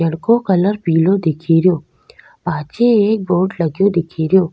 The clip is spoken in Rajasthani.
पेड़ को कलर पिलो दिखेरो पाछे एक बोर्ड लगो दिखेरो।